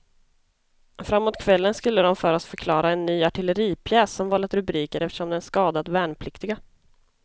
Framåt kvällen skulle de för oss förklara en ny artilleripjäs som vållat rubriker eftersom den skadat värnpliktiga.